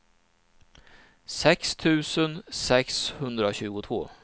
sex tusen sexhundratjugotvå